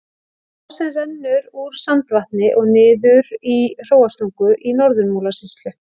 Á sem rennur úr Sandvatni og niður í Hróarstungu í Norður-Múlasýslu.